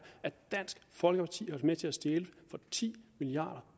at dansk folkeparti har til at stjæle ti milliard